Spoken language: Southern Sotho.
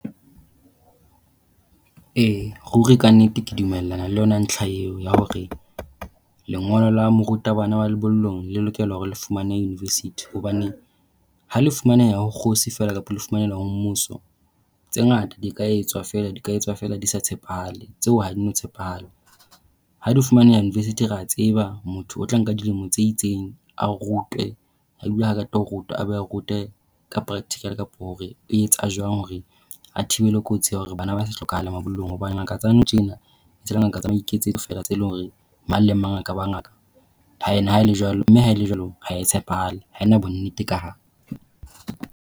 E, ruri ka nnete ke dumellana le yona ntlha eo ya hore lengolo la morutabana wa lebollong le lokela hore le fumaneha university hobane ha le fumaneha hore kgosi fela kapa le fumaneha ho mmuso, tse ngata di ka etswa fela ka etswa fela di sa tshepahale. Tseo ha di na tshepahala. Ha di fumaneha university re a tseba motho o tla nka dilemo tse itseng. A rutwe. Ebile ha a qeta ho rutwa, a be a rutwe ka practical kapa hore etsa jwang hore a thibele kotsi ya hore bana ba se hlokahale mabollong. Hobane ngaka tsa nou tjena ke ngaka tsa maiketsetso fela tseo e leng hore mang le mang a ka ba ngaka. Mme ha e le jwalo, mme ha e le jwalo ha e tshepahale. Ha e na bonnete ka hare.